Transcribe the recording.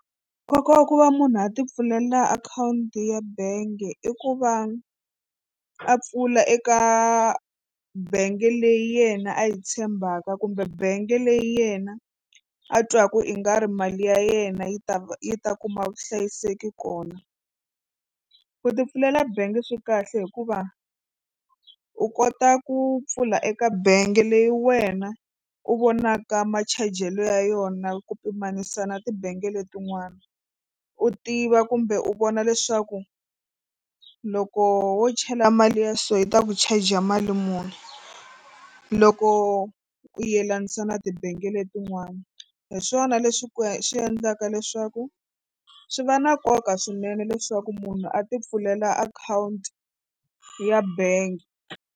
Nkoka wa ku va munhu a tipfulela akhawunti ya bangi i ku va a pfula eka bangi leyi yena a yi tshembaka kumbe bangi leyi yena a twaka i nga ri mali ya yena yi ta va yi ta kuma vuhlayiseki kona. Ku tipfulela bangi swi kahle hikuva u kota ku pfula eka bangi leyi wena u vonaka machajelo ya yona ku pimanisa na tibange letin'wana u tiva kumbe u vona leswaku loko wo chela mali ya so hi ta ku charger mali muni loko u yelanisa na tibangi letin'wani hi swona leswi ku swi endlaka leswaku swi va na nkoka swinene leswaku munhu a tipfulela akhawunti ya bangi.